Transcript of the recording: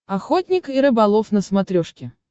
охотник и рыболов на смотрешке